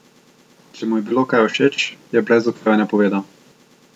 Če mu je bilo kaj všeč, je brez oklevanja povedal.